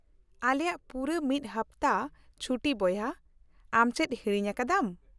-ᱟᱞᱮᱭᱟ ᱯᱩᱨᱟᱹ ᱢᱤᱫ ᱦᱟᱯᱛᱟ ᱪᱷᱩᱴᱤ ᱵᱚᱭᱦᱟ; ᱟᱢ ᱪᱮᱫ ᱦᱤᱲᱤᱧ ᱟᱠᱟᱫᱟᱢ ?